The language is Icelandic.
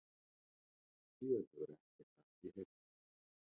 Síðan hefur ekkert af því heyrst